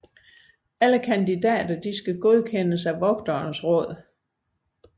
Alle kandidater skal godkendes af Vogternes Råd